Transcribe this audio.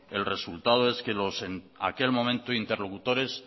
el resultado es que los en aquel momento interlocutores